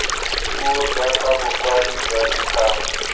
puo jaaka bokwadi jwa dikgang